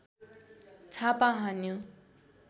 छापा हान्यो